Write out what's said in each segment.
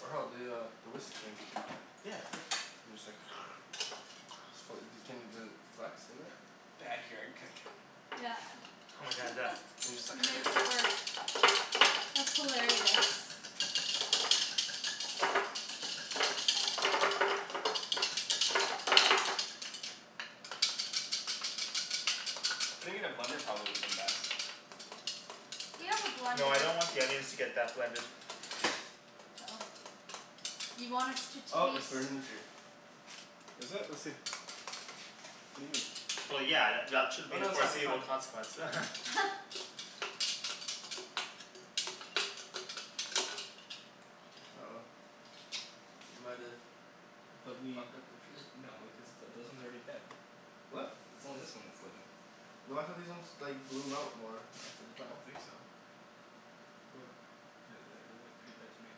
Or hell, the uh the whisk thing. Yeah, that's good. Then you just like So wh- y- d- can you does it, flax in there? Backyard cooking. Yeah Oh my god, yes. And just He makes it work. like That's hilarious. Putting it in a blender probably woulda been best. We have a No, I blender. don't want the onions to get that blended. Oh. You want us to Oh it's taste burning the tree. Is it? Let's see. What do you mean? Well yeah, th- y- at should Oh be the no, that's fine, that's foreseeable fine. consequence Uh oh. We might've fucked up the tree. No, cuz th- those ones are already dead. It's What? it's only this one that's living. No I thought these ones like bloom out more after the I fact. don't think so. The- the- they look pretty dead to me.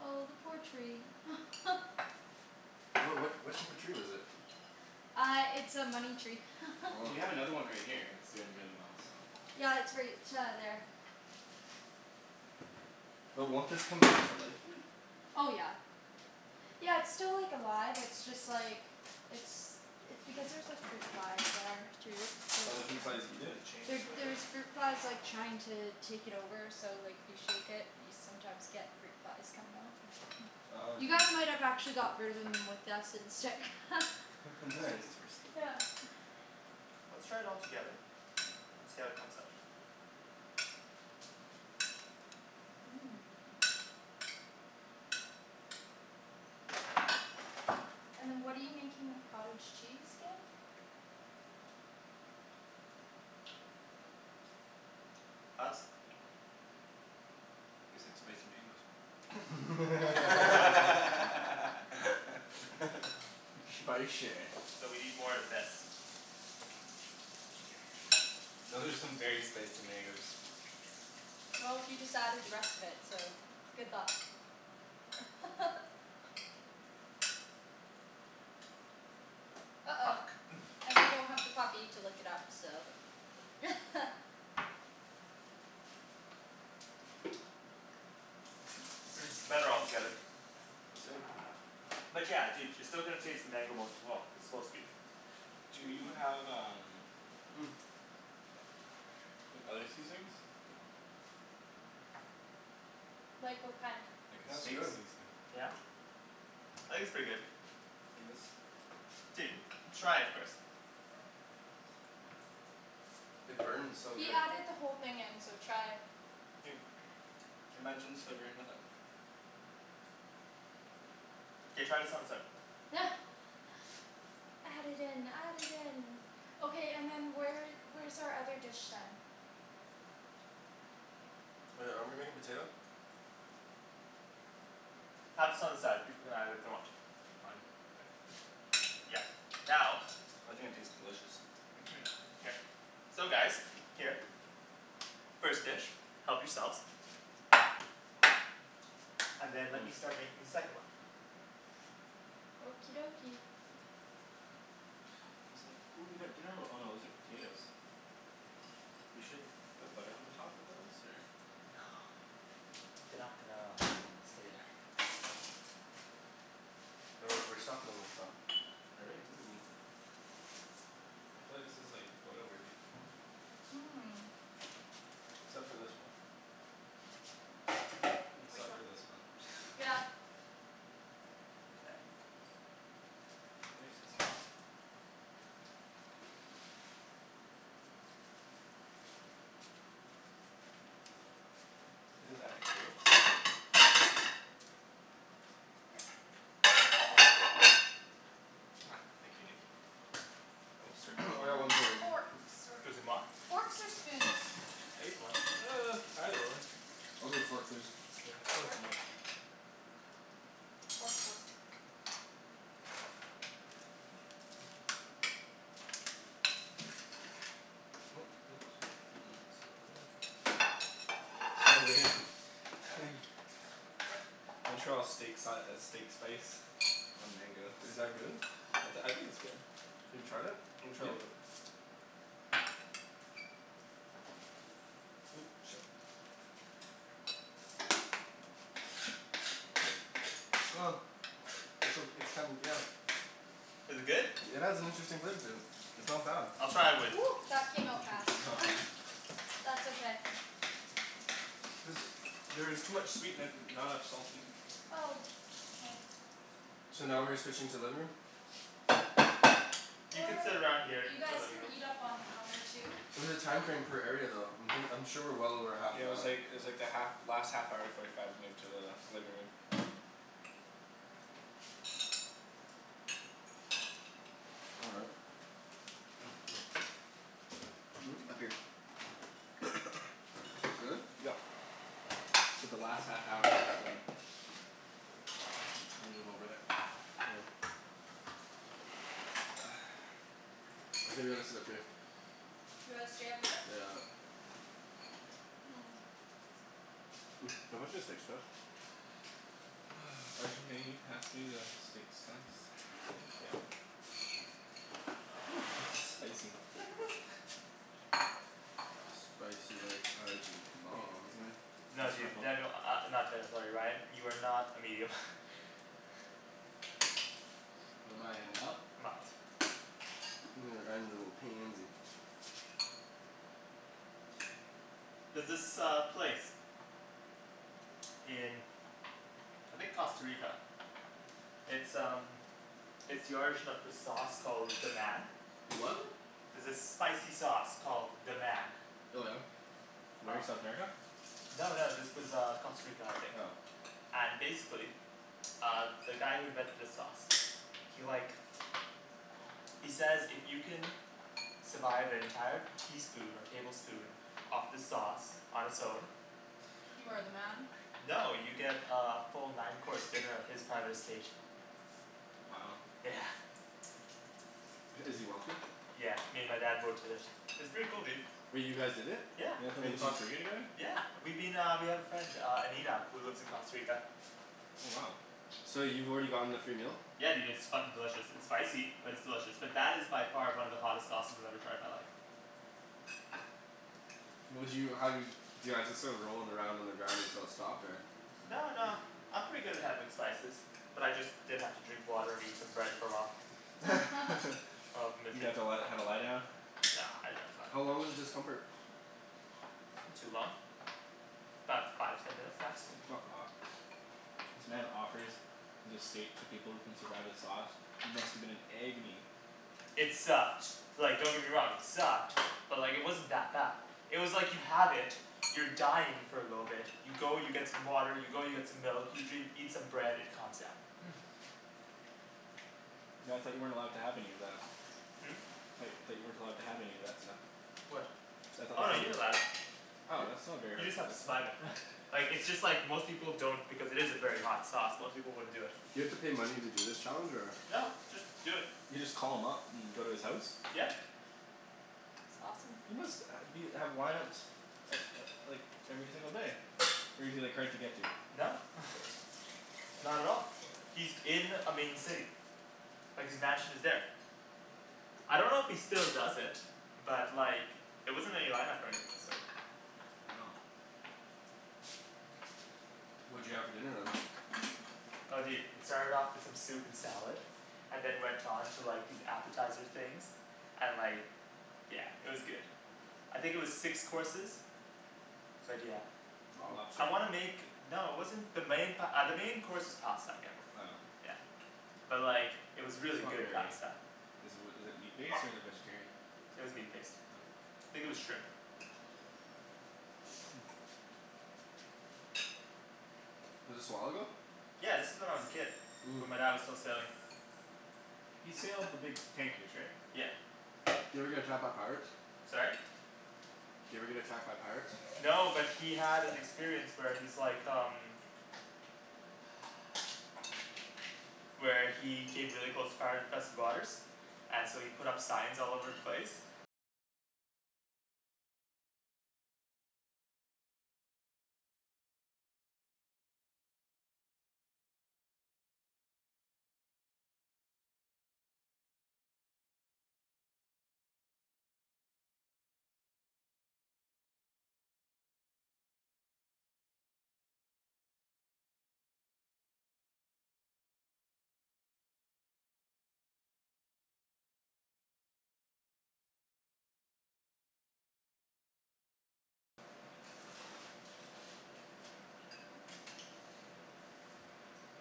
Oh the poor tree What what what type of tree was it? Uh it's a money tree Well, you have another one right here that's doing really well, so. Yeah, it's right uh there. But won't this come back to life here? Oh yeah. Yeah it's still like alive, it's just like it's it's because there's like fruit flies there too, so Oh the fruit kinda flies eat Did it? it change There flavor? there's fruit flies like trying to take it over so like if you shake it you sometimes get fruit flies coming out Oh You dude. guys might have actually got rid of them with that scent stick I think we still Nice. need some more seafood. Yeah Let's try it all together and see how it comes out. Mmm. And then what are you making with cottage cheese, again? Thoughts? Tastes like spicy mangoes. Spicy. So we need more of this. Those are some very spicy mangoes. Well, he just added the rest of it, so good luck. Uh oh, Fuck. and we don't have the puppy to lick it up so Hmm, better all together. Let's see it. But yeah, dude, you're still going to taste the mango most of all. It's supposed to be Do you have um like other seasonings? Like what kind? Like a That's steak good. seasoning. Yeah. I think it's pretty good. Like this. Dude, try it first. It burns so He good. added the whole thing in, so try. Dude. Imagine slivering with it. K, try this on its own. Add it in, add it in. Okay, and then where where's our other dish then? Oh yeah, are we making potato? Have this on the side, people can have it if they want. Fine. Yeah. Now I think it tastes delicious. Mhm. Here. So guys, here. First dish, help yourselves. And then let me Mmm. start making the second one. Okie dokie. These look ooh we got dinner ro- oh no those are potatoes. We should put butter on the top of those or? No They're not gonna stay there. Oh right, we're stuffin' 'em with stuff. Are we? Ooh. I feel like this is like photo-worthy. Mmm. Except for this one. Hmm? Which Except one? for this one. Yeah. K. They're nice and soft. Is this Epicurious? Here. Ah, thank you Nikki. I most I certainly got one Hmm, fork right here. forks or excusez-moi. Forks or spoons? I ate the one. Uh, either one. I'll take a fork please. Yeah, fork for Fork me. Fork, fork. gonna get some of that. Montreal steak si- uh steak spice on mango. Is that good? I t- I think it's good. Have you tried it? Let me try a Yeah. little bit. Ooh, shit. It's ok- it's kinda, yeah. Is it good? It has an interesting flavor to it. It's not bad. I'll try it with that came out fast That's okay. There's there is too much sweet in it and not enough salty. Oh, k. So now we're switching to living room? You could Or sit around here, you you could go guys living can room. eat up on the counter too. It was a time frame per area though. I'm thin- I'm sure we're well over half Yeah it an was hour. like it was like the half last half hour forty five move to the living room. All right. Hmm? Hmm? Mmm. Up here. Really? Yep. I said the last half hour M- move over there. Oh. I think we gotta sit up here. We gotta stay up here? Yeah. Mmm Can you pass me the steak spice? Arjan may you pass me the steak slice? Thank ya. This is spicy. Spicy like Arjan's mom. Mind No passing my dude. phone? Daniel, uh not Daniel, sorry Ryan, you are not a medium. What am I, a mild? A mild. Ryan's a little pansy. There's this uh place. in I think Costa Rica. It's um It's the origin of this sauce called "Deman" The what? There's this spicy sauce called "Deman" Oh yeah? Where? South America? No no, this was uh Costa Rica I think. Oh. And basically uh the guy who invented the sauce he like he says if you can survive an entire teaspoon or tablespoon of the sauce on its own You are the man? No, you get uh a full nine course dinner at his private estate. Wow. Yeah. Is he wealthy? Yeah, me and my dad both did it. It's pretty cool, dude. Wait, you guys did it? Yeah. You guys went to And the did you Costa Rica j- together? Yeah we've been uh, we have a friend uh Anita who lives in Costa Rica. Oh wow. So you've already gotten the free meal? Yeah dude, it's fucking delicious. It's spicy, but it's delicious. But that is by far one of the hottest sauces I've ever tried in my life. Would you, how, do you, do you guys just start rolling around on the ground until it stopped or No no, I'm pretty good good spices. But I just did have to drink water and eat some bread for a while. Oh You had to li- have a lie down? No no it's How fine. long was the discomfort? Not too long. 'bout five, ten minutes maximum. Fuck off. This man offers his estate to people who can survive the sauce. You must've been in agony. It sucked, like don't get me wrong, it sucked. But like it wasn't that bad. It was like you have it, you're dying for a little bit, you go you get some water, you go you get some milk, you dr- eat some bread, it calms down. But I thought you weren't allowed to have any of that. Hmm? Tho- thought you weren't allowed to have any of that stuff. What? See, I thought the Oh no, point you're was allowed. Oh Y- that's not a very you hard just have to then survive it. Like, it's just like most people don't because it is a very hot sauce, most people wouldn't do it. You have to pay money to do this challenge or? No, just do it. You just call him up and go to his house? Yeah. That's awesome. He must uh be, have lineups uh uh like every single day. Or is he like hard to get to? No. Not at all. He's in a main city. Like his mansion is there. I don't know if he still does it. But like there wasn't any lineup or anything of the sort. Wow. What'd you have for dinner then? Oh dude, it started off with some soup and salad and then went on to like these appetizer things. And like Yeah, it was good. I think it was six courses. But yeah. Wow. I Lobster? wanna make... No it wasn't the main pa- uh the main course was pasta again. Oh. Yeah. But like it was It's really not good very pasta. Is it wi- is it meat-based or is it vegetarian? It was meat based. Oh. Think it was shrimp. Was this a while ago? Yeah, this was when I was a kid. Mmm. When my dad was still sailing. He sailed the big tankers right? Yeah. Did he ever get attacked by pirates? Sorry? Did he ever get attacked by pirates? No, but he had an experience where he's like um Where he hid really close to pirate infested waters And so he put up signs all over the place.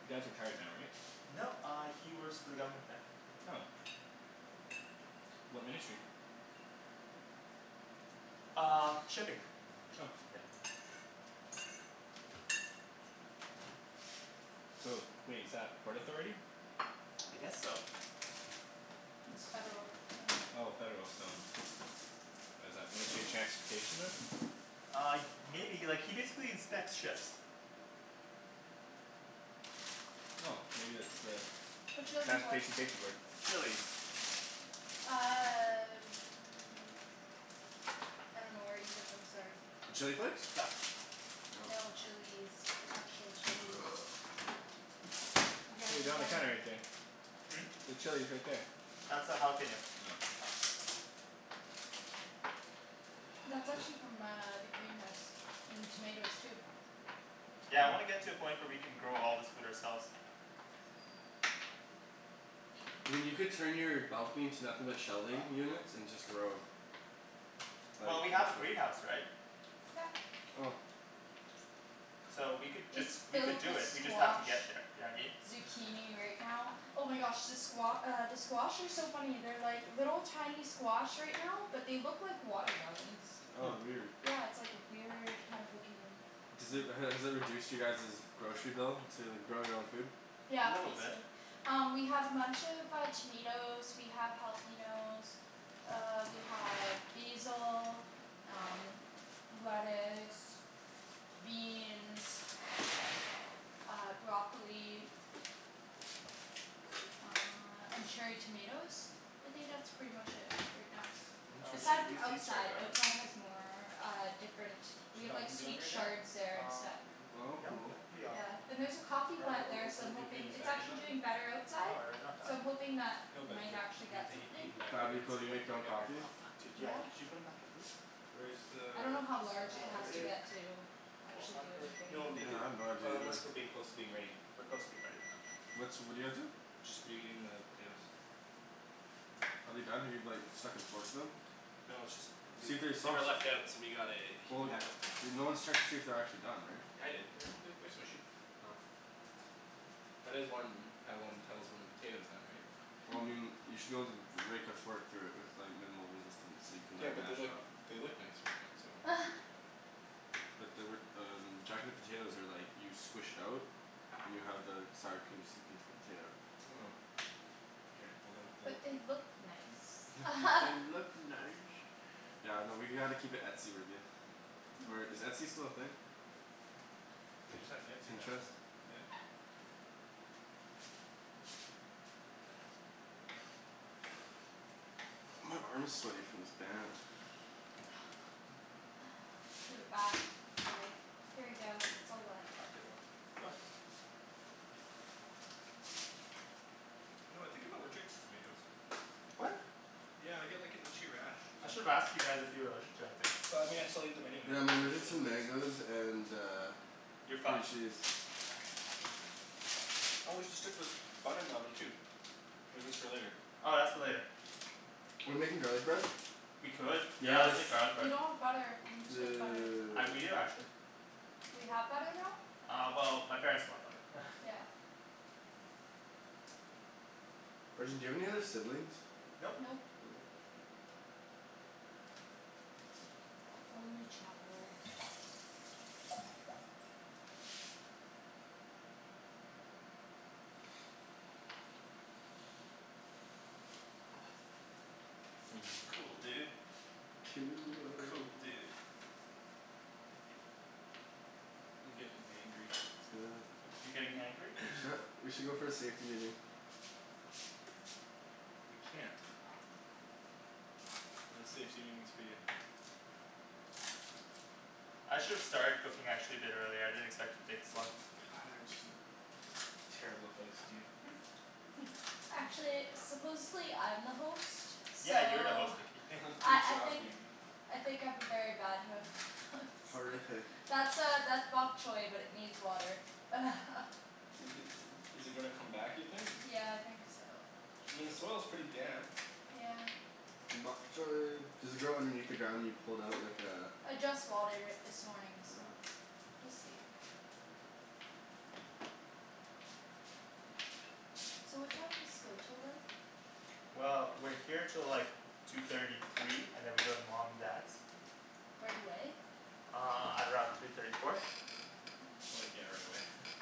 You dad's retired now right? No, uh he works for the government now. Oh. What ministry? Uh, shipping. Oh. Yeah. So, wait, is that Port Authority? I guess so. It's federal uh Oh, federal, so What is that, Ministry of Transportation then? Uh y- maybe, like he basically inspects ships. Oh, maybe it's the Whatcha lookin' for? Transportation Safety Board. Chilis. Uh I dunno where you put them, sorry. The chili flakes? Got it. Oh. No, chilis. Actual chilis. You guys There you we go, on the gotta counter right there. Hmm? The chili's right there. That's a jalapeno. Oh. That's actually from uh the greenhouse. And the tomatoes too. Yeah, I Cool. wanna get to a point where we can grow all this food ourselves. I mean you could turn your balcony into nothing but shelving units and just grow. Like Well, we have a Bushwick. greenhouse, right? Yep. Oh. So we could just, It's we could filled do with it, we just have to squash. get there, you know what I mean? Zucchini right now. Oh my gosh the squa- uh the squash are so funny. They're like little tiny squash right now but they look like watermelons. Oh weird. Yeah it's like weird kind of looking Does it, has it reduced you guys's grocery bill, to grow your own food? A Yeah, little bit. basically. Um we have a bunch of uh tomatoes, we have jalapenos uh we have basil, um lettuce beans uh, broccoli uh and cherry tomatoes? I think that's pretty much it right now. Oh, we should Aside Interesting. have from used these cherry outside. Outside has more uh different. We Should that have like oven be on sweet right now? chards there and stuff. Um, Oh no, cool. that can be off. Yeah. And there's a coffee Or are are plant there are so I'm aren't we putting hoping. these It's back in the actually oven? doing better No, outside. are you not So done? I'm hoping that No we but might they're actually we get have to heat something. heat them back up. That'd They've be been cool, do you sitting out make for your own like ever. coffee? Oh, fuck dude, yeah, Yeah. y- could you put them back in please? Where's the I dunno how Just large it has uh to temperature? get to Four actually do hundred. anything No though. make Yeah, it, I have no idea unless either. we're being closer to being ready. We're close to being ready. Okay. What's, what're you guys doing? Just reheating the potatoes. Are they done? Have you like stuck and forked them? No it's just, they See if they're they were soft. left out so we gotta heat Well them y- back up. you're, no one's checked to see if they're actually done, right? I did. They're they're they're smushy. Oh. That is one, how one tells when a potato's done right? Well Hmm. I mean, you should be able to rake a fork through it with like minimal resistance so you can Yeah like but they're mash it like, up. they look nice right now so I don't want to do that. But they were um, jacket potatoes are like you squish it out and you have the sour cream seep into the potato. Oh. K, well then, we'll But they look nice. But they look nice. Yeah, no, we gotta keep it etsy-worthy. Or is Etsy still a thing? They just had an Etsy Pinterest? national. Yeah. My arm's sweaty from this band. Give it back. It's like "Here you go, Hey it's I'm all gonna wet." steal one. You know, I think I'm allergic to tomatoes. What? Yeah I get like an itchy rash I should've sometimes. asked you guys if you were allergic to anything. But I mean I still eat them anyways Yeah, I'm cuz they're so allergic to delicious. mangoes and uh You're cream fucked. cheese. Oh we should stick this bun in the oven too. Or is this for later? Oh, that's for later. We're making garlic bread? We could. Yeah, let's Yes! make garlic We bread. don't have butter. We need to get butter. I d- we Dude. do actually. We have butter now? Uh well my parents bought butter. Yeah. Arjan, do you have any other siblings? Nope. Nope. Only child. Mm. Cool, dude. Cool. Cool, dude. I'm gettin' hangry You're getting hangry? We should go for a safety meeting. We can't. No safety meetings for you. I should've started cooking actually a bit earlier, I didn't expect to take this long. God, Arjan. Terrible host, you Actually, supposedly I'm the host, Yeah, you're the host so Nikki I Good I job, think Nikki. I think I'm a very bad host Horrific. That's uh that's bok choi but it needs water Is it is it gonna come back you think? Yeah, I think so. I mean the soil's pretty damp. Yeah. Bok choi. Does it grow underneath the ground and you pull it out like uh I just watered it this morning so we'll see. So what time does this go 'til then? Well, we're here till like two thirty, three, and then we go to mom and dad's. Right away? Uh, at around three thirty, four. So like, yeah, right away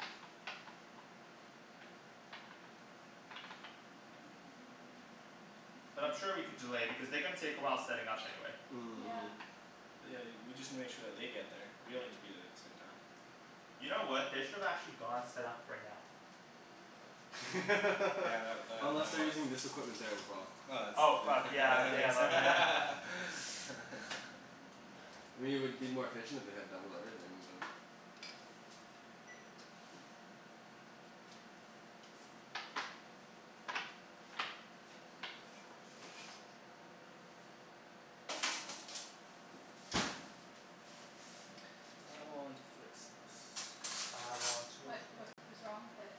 But I'm sure we could delay because they're gonna take a while setting up anyway. Yeah. But yeah, y- we just need to make sure that they get there. We Yeah. don't need to be there at the same time. You know what, they should've actually gone set up right now. Yeah, tha- that Unless they're that. using this equipment there as well. Oh, Oh it's fuck, du- yeah that yeah makes my b- yeah. I mean it would be more efficient if they had double everything, but I want to fix this. I want to What fill what was the wrong with it?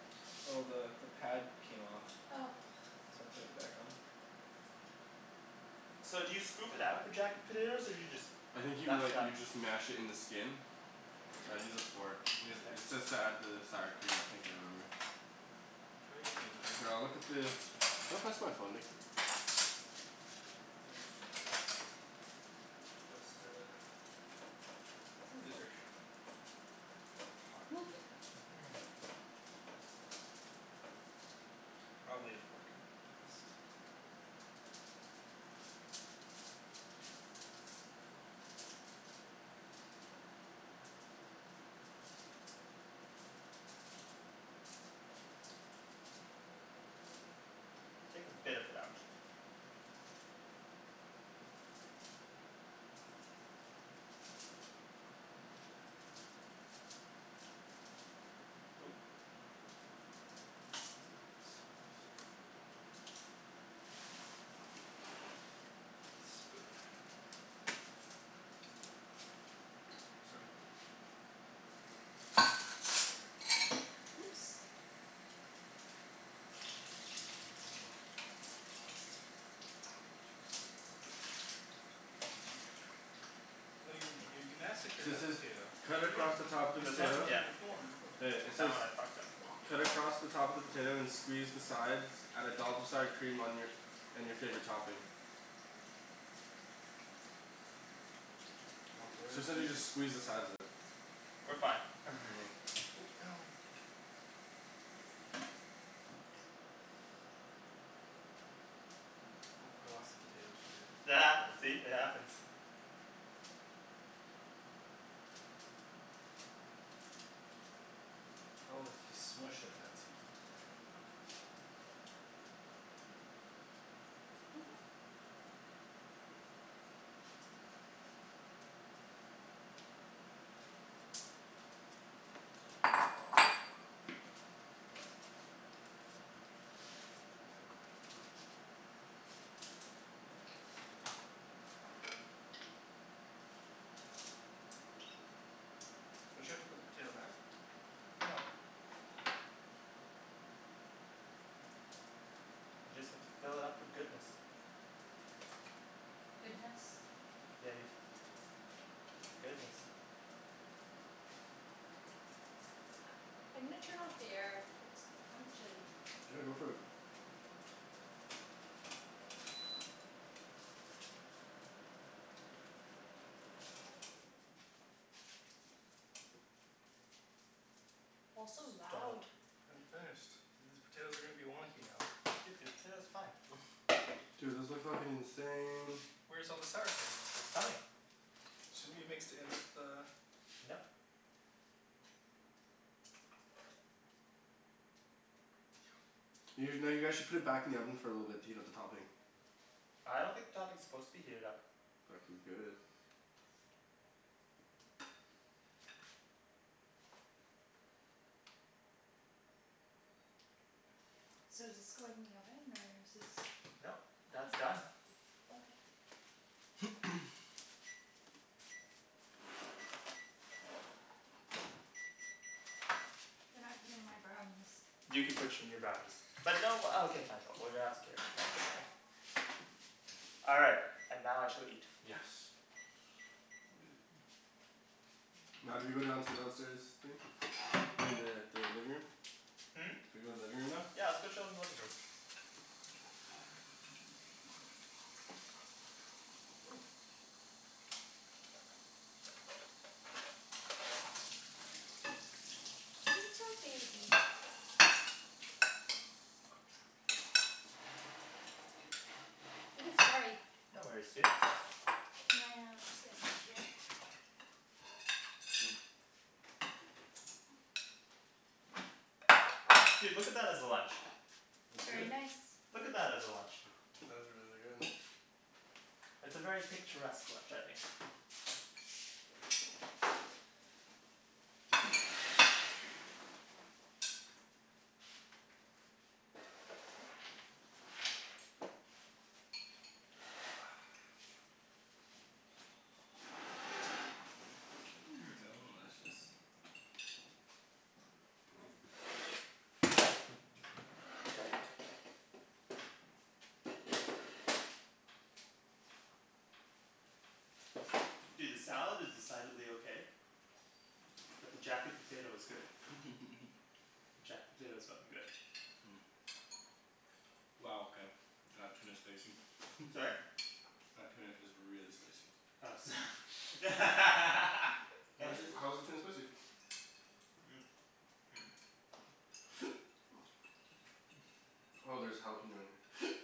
Oh the the pad came off. Oh So I'm putting it back on. So do you scoop it out for jacket potatoes or do you just I think you m- mash it like up? you just mash it in the skin. Here I'd you use go. a fork. It Mkay. says to add the sour cream I think I remember. Try using a knife. Here, I'll look at the, can you pass my phone Nikki? Twist it. Ooh, these are hot. Mhm Hmm. Probably a fork would be best. Take a bit of it out. Oop- Oh, spoon. Oops, sorry. Oops. Oh you're you you massacred So it that says potato. cut What do you mean? across the top of the You were This one? supposed to potato. keep Yeah. the form. Hey, it That says one I fucked up. cut across the top of the potato and squeeze the sides. Add a dollop of sour cream on your, and your favorite topping. We're So it sounds gonna like make you it just squeeze the sides of it. We're fine Ooh, no Oh I lost a potato to your See? It happens. Oh if you smush it that's easier. There you go. Don't you have to put the potato back? No. I just have to fill it up with goodness. Goodness? Yeah dude. Goodness. I'm gonna turn off the air. It's kind of chilly. Yeah, go for it. Also loud. Dollop. I hadn't finished. These potatoes are gonna be wonky now. Dude, the potatoes are fine. Dude those look fuckin' insane. Where's all the sour cream? It's coming. Shouldn't we have mixed it in with the Nope. You no, you guys should put it back in the oven for a little bit to heat up the topping. I don't think the topping is supposed to be heated up. Fucking good. So does this go in the oven or is this Nope, that's done. Okay. Then I put in my brownies. You can put your new brownies. But no uh okay fine but we're gonna have to carry it, mom's away. All right, and now I shall eat. Yes. Now do we go down to the downstairs thing? I mean the the living room? Hmm? Do we go living room now? Yeah, let's go chill in the living room. Ooh. Little baby. Woo, sorry. No worries, dude. Can I uh just get in over here? Mm. Dude, look at that as a lunch. That's good. Very nice. Look at that as a lunch. That is really good. It's a very picturesque lunch, I think. Mmm. Hmm Delicious. Dude, this salad is decidedly okay. But the jacket potato is good. Jacket potato is fucking good. Wow okay. That tuna's spicy. Sorry? That tuna is really spicy. Oh so Why is it, how is the tuna spicy? Oh there's jalapeno in here.